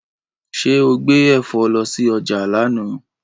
Ṣẹ́ o gbé ẹ̀fọ́ lọ sí ọjà lánàá?